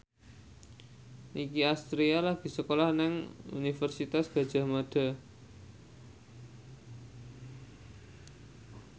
Nicky Astria lagi sekolah nang Universitas Gadjah Mada